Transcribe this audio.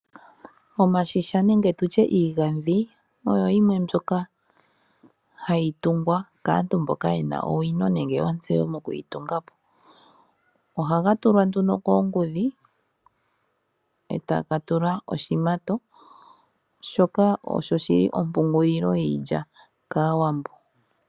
Omashisha nenge tu tye iigandhi oyo yimwe mbyoka hayi tungwa kaantu mboka ye na ontseyo nenge owino moku yi tunga po. Ohaga tulwa nduno koongudhi e ta ga tulwa oshimato. Shoka osho shi li ompungulilo yiilya kAawambo.